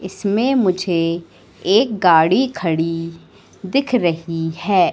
इसमें मुझे एक गाड़ी खड़ी दिख रही है।